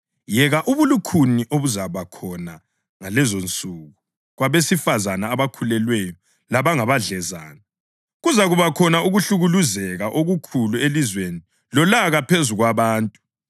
Yeka ubulukhuni obuzakuba khona ngalezonsuku kwabesifazane abakhulelweyo labangabadlezane! Kuzakuba khona ukuhlukuluzeka okukhulu elizweni lolaka phezu kwabantu.